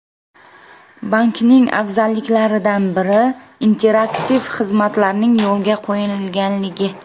Bankning afzalliklaridan biri, interaktiv xizmatlarning yo‘lga qo‘yilganligi.